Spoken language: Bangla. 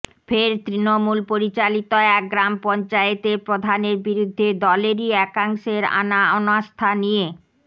ফের তৃণমূল পরিচালিত এক গ্রাম পঞ্চায়েতের প্রধানের বিরুদ্ধে দলেরই একাংশের আনা অনাস্থা নিয়ে